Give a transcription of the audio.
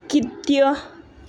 kityo.''